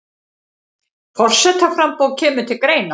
Forsetaframboð kemur til greina